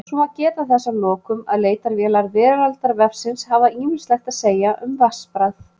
Svo má geta þess að lokum að leitarvélar Veraldarvefsins hafa ýmislegt að segja um vatnsbragð.